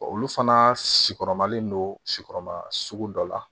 Olu fana si kɔrɔmalen don sikɔrɔma sugu dɔ la